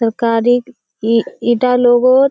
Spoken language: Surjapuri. सरकारी इ ईटा लोग और --